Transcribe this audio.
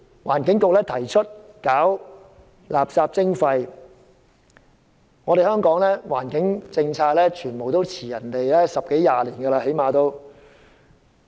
環境局今年提出垃圾徵費，香港的環境政策，比別人慢了十多二十年。